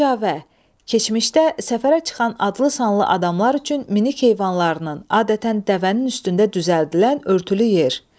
Kəcavə, keçmişdə səfərə çıxan adlı-sanlı adamlar üçün minik heyvanlarının, adətən dəvənin üstündə düzəldilən örtülü yer.